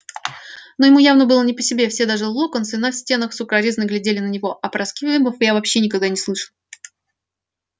но ему явно было не по себе все даже локонсы на стенах с укоризной глядели на него а про сквибов я вообще никогда не слышал